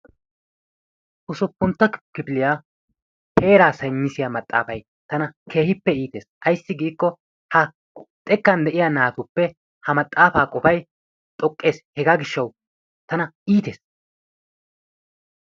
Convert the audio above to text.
Usuppuntta kifiliya heeraa saynisiya maxaafayi tana keehippe iites. Ayssi ha xekkan de"iya naatuppe ha maxaafaa qofayi xoqqes hegaa gishshawu tana iites.